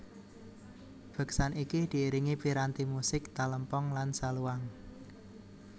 Beksan iki diiringi piranti musik Talempong lan Saluang